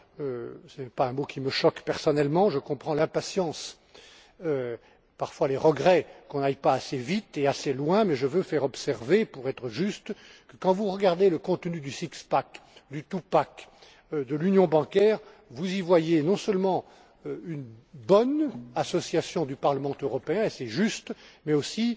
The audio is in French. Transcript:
fédéral. Ce n'est pas un mot qui me choque personnellement. Je comprends l'impatience, parfois les regrets, que l'on n'aille pas assez vite et assez loin, mais je veux faire observer, pour être juste, que quand vous regardez le contenu du six pack du two pack ou de l'union bancaire, vous y voyez non seulement une bonne association du Parlement européen, et c'est juste,